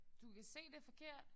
Du kan se det er forkert